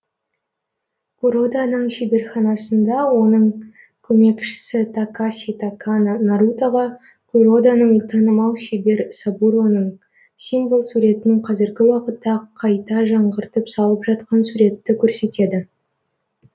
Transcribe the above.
куроданың шеберханасында оның көмекшісі такаси такано нарутоға куродоның танымал шебер сабуроның символ суретін қазіргі уақытта қайта жаңғыртып салып жатқан суретті көрсетеді